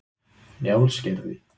Njálsgerði